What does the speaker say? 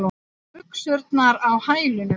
Buxurnar á hælunum.